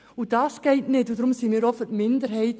Wir sind deshalb für die Minderheit.